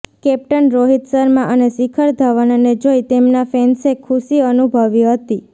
captain Rohit Sharma અને શિખર ધવનને જોઇ તેમના ફેન્સે ખુશી અનુભવી હતી